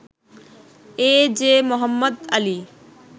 A J Mohammad Ali